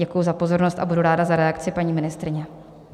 Děkuji za pozornost a budu ráda za reakci paní ministryně.